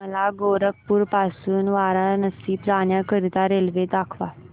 मला गोरखपुर पासून वाराणसी जाण्या करीता रेल्वे दाखवा